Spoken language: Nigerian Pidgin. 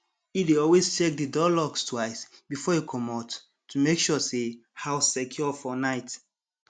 e dey always check the door locks twice before e comot to make sure say house secure for night